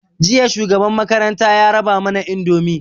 Jiya shugaban makaranta ya raba mana indomi